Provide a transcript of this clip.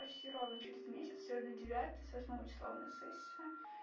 почти ровно через месяц сегодня девятое с восьмого числа у меня сессия